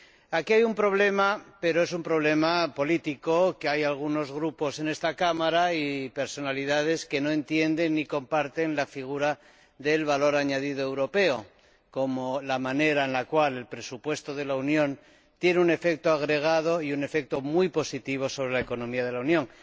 Aquí hay un problema, pero es un problema político hay algunos grupos en esta Cámara y personalidades que no entienden ni comparten la figura del valor añadido europeo, como la forma en que el presupuesto de la Unión tiene un efecto agregado y un efecto muy positivo sobre la economía de la Unión.